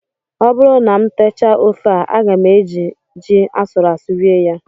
Ọ bụrụ na m techaa ofe a, aga m eji ji asụrụ asụ rie ya